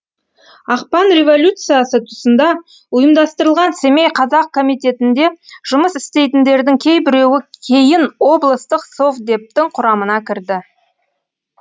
ақпан революциясы тұсында ұйымдастырылған семей қазақ комитетінде жұмыс істейтіндердің кейбіреуі кейін облыстық совдептің құрамына кірді